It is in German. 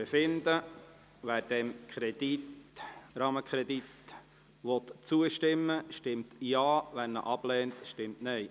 Wer diesem Rahmenkredit zustimmt, stimmt Ja, wer diesen ablehnt, stimmt Nein.